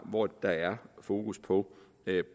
hvor der er fokus på